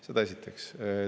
Seda esiteks.